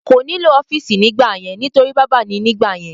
Kò ní lò ọ́fìsì nígbà yẹn nítorí bábà ni nígbà yẹn